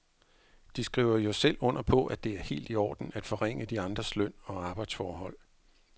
De skriver jo selv under på, at det er helt i orden at forringe de andres løn og arbejdsforhold.